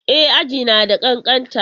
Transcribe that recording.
E, aji na da ƙanƙanta.